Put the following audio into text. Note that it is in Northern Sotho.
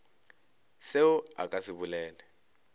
selo a ka se bolele